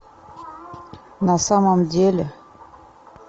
на самом деле